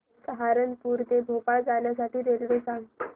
सहारनपुर ते भोपाळ जाण्यासाठी रेल्वे सांग